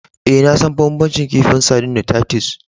Eh, na san banbancin kifin sardine da Titus.